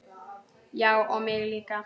Já og mig líka.